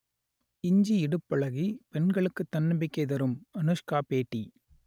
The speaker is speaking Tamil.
இஞ்சி இடுப்பழகி பெண்களுக்கு தன்னம்பிக்கை தரும் அனுஷ்கா பேட்டி